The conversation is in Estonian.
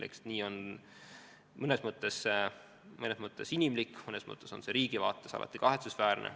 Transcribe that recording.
Eks see on mõnes mõttes inimlik, mõnes mõttes aga riigi vaates alati kahetsusväärne.